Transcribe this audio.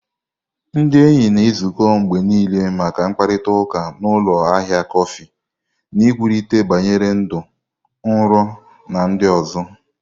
Ndị enyi na-ezukọ mgbe niile maka mkparịta ụka na ụlọ ahịa kọfị, na-ekwurịta banyere ndụ, nrọ, na ndị ọzọ.